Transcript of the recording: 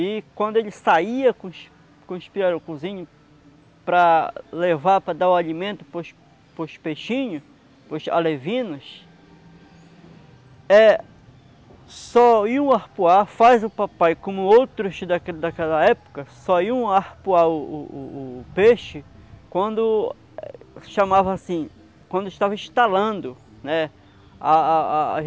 E quando ele saía com os com os pirarucuzinho para levar, para dar o alimento para os para os peixinhos, para os alevinos, eh, só iam arpoar, faz o papai, como outros daquela época, só iam arpoar o peixe quando, chamava assim, quando estava estalando, né, a, a a...